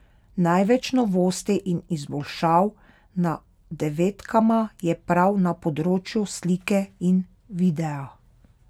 Največ novosti in izboljšav na devetkama je prav na področju slike in videa.